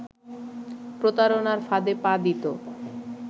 প্রতারণার ফাঁদে পা দিত